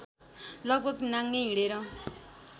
लगभग नाङ्गै हिँडेर